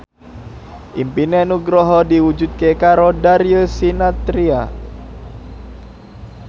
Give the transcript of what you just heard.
impine Nugroho diwujudke karo Darius Sinathrya